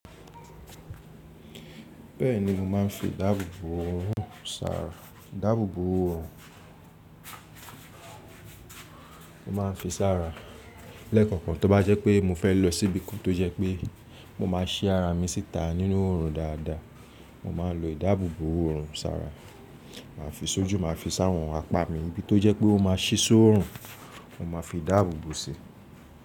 Bẹ́ẹ̀ni mo máa ń fi ìdáàbòbò òòrùn ṣàrà. Ìdáàbòbò òòrùn, mo máa ń fi ṣàrà. Lẹ́ẹ̀kọ̀kan tó bá jẹ́ pé mo fẹ́ lọ síbìkún tó jẹ́ pé mo máa ṣí ara mi síta nínú òòrùn dáadáa, mo máa lo ìdáàbòbò òòrùn ṣàrà. Màá fi sójú, màá fi sáwọn apáà mi níbi tó jẹ́ pé ó máa ṣí sóòrùn, mo máa fi dáàbòbò si.